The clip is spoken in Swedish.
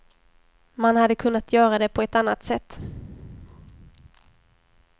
Man hade kunnat göra det på ett annat sätt.